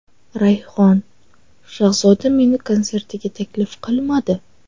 Rayhon: Shahzoda meni konsertiga taklif qilmadi.